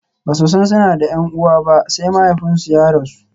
Ba su san suna da 'yar uwa ba sai mahaifinsu ya rasu.